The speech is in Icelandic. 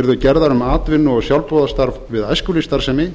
yrðu gerðar um atvinnu og sjálfboðastarf við æskulýðsstarfsemi